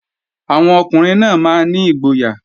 Àwọn ọkùnrin náà máa ní ìgboyà